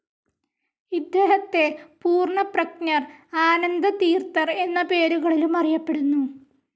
ഇദ്ദേഹത്തെ പൂർണ്ണപ്രജ്ഞർ, ആനന്ദതീർത്ഥർ എന്ന പേരുകളിലും അറിയപ്പെടുന്നു.